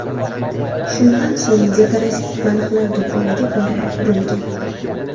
Shundan so‘ng dekorativ baliqlar do‘koniga borib urilgan.